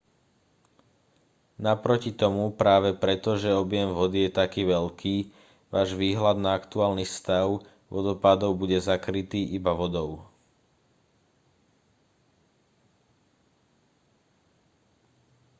naproti tomu práve preto že objem vody je taký veľký váš výhľad na aktuálny stav vodopádov bude zakrytý-iba vodou